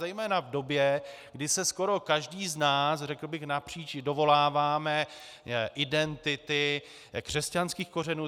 Zejména v době, kdy se skoro každý z nás, řekl bych napříč, dovoláváme identity křesťanských kořenů.